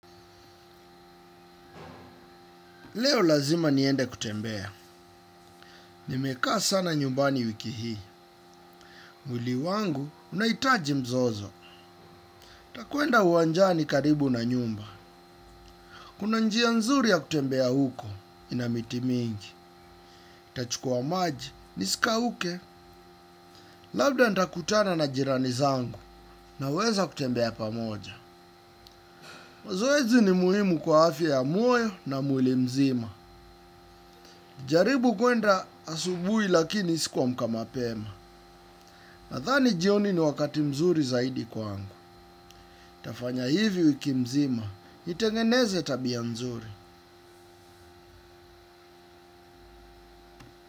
Leo lazima niende kutembea, nimekaa sana nyumbani wiki hii, mwili wangu unahitaji mzozo, nitakwenda uwanjani karibu na nyumba, kuna njia nzuri ya kutembea huko, inamiti mingi, nitachukua maji, nisi kauke, labda ntakutana na jirani zangu, naweza kutembea pamoja. Mazoezi ni muhimu kwa afya ya moyo na mwili mzima. Jaribu kwenda asubuhi lakini si kuamka mapema. Nadhani jioni ni wakati mzuri zaidi kwangu. Nitafanya hivi wiki nzima, nitengeneze tabia mzuri.